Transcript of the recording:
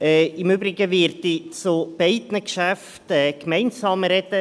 Im Übrigen werde ich zu beiden Geschäften gemeinsam sprechen.